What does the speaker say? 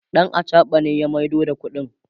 ɗan achaɓa ne ya maido da ƙuɗin